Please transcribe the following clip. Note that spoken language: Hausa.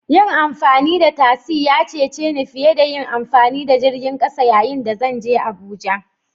Yin amfani da tasi ya cece ni fiye da yin amfani da jirgin ƙasa yayin da zan je Abuja